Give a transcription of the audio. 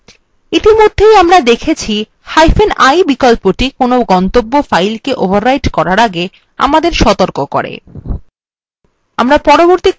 ইতিমধ্যে আমরা দেখেছিi বিকল্পটি কোনো গন্তব্য file the overwrite করার আগে আমাদের সতর্ক করে